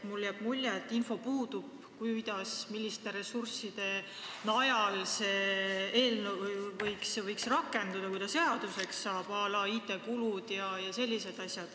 Mulle jääb mulje, et puudub info, milliste ressursside najal see eelnõu võiks rakenduda, kui ta seaduseks saab, à la IT-kulud jms.